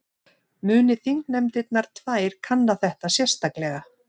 Muni þingnefndirnar tvær kanna þetta sérstaklega